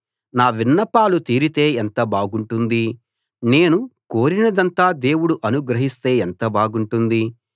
నా విన్నపాలు తీరితే ఎంత బాగుంటుంది నేను కోరినదంతా దేవుడు అనుగ్రహిస్తే ఎంత బాగుంటుంది